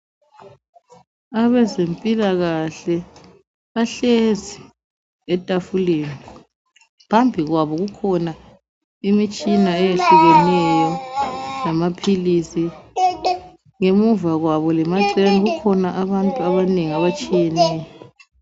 Abezempilakahle bahlezi etafuleni. Phambi kwabo kukhona imitshina eyehlukeneyo lamaphilisi, ngemuva kwabo lemaceleni kukhona abantu abanengi abatshiyeneyo.